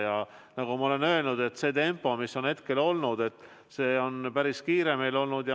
Ja nagu ma olen öelnud, see tempo, mis on seni olnud, on päris kiire olnud.